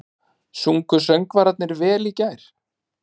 Sungu söngvararnir vel í gær?